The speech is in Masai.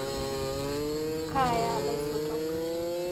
Kaaya laisotok